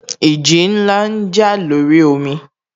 Ìjì ńlá jà lórí omi